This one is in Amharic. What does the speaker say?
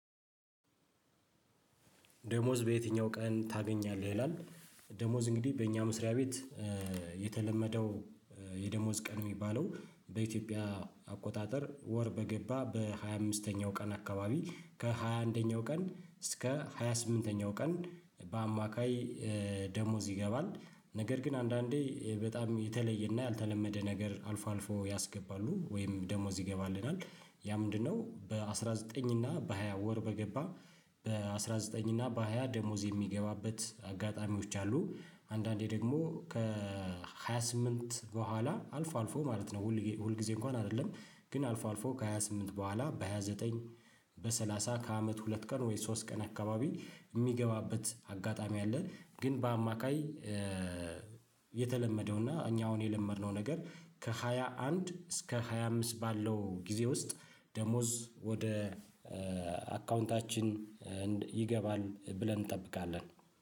ደሞዝ በየትኛው ቀን ታገኛለህ ይላል? ደሞዝ እንግዲህ በእኛ መስሪያ ቤት የተለመደው የደሞዝ ቀን የሚባለው በኢትዮጵያ አቆጣጠር ወር በገባ በሃያ አምስተኛው ቀን አካባቢ ከሃያ አንደኛው ቀን እስከ ሃያ ስምንተኛ ቀን በአማካይ ደሞዝ ይገባል። ነገር ግን አንዳንዴ በጣም የተለየና ያልተለመደ ነገር አልፎ አልፎ ያስገባሉ ወይም ደሞዝ ይገባልናል ያ ምንድነው? በአስራ ዘጥኝ እና በሃያ ወር በገባ በአስራ ዘጥኝ እና በሃያ ደሞዝ የሚገባበት አጋጣሚዎች አሉ። አንዳንዴ ደግሞ ከሃያ ስምንት በኋላ አልፎ አልፎ ማለት ነው ሁል ጊዜ እንኳን አይደለም። ግን አልፎ አልፎ ከሃያ ስምንት በኋላ በሃያ ዘጠኝ በሰላሳ ከአመት ሁለት ቀን ወይስ ሶስት ቀን አካባቢ የሚገባበት አጋጣሚ አለ። ግን በአማካይ የተለመደው እና እኛ አሁን የለመድነው ነገር ከሃያ አንድ እስከ ሃያ አምስት ባለው ጊዜ ውስጥ ደሞዝ ወደ አካውንታችን ይገባል። ብለን እንጠብቃለን